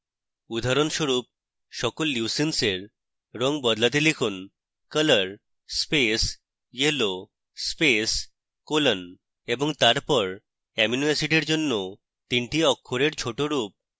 উদাহরণস্বরূপ সকল leucines for রঙ বদলাতে লিখুন: